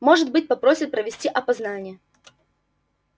может быть попросят провести опознание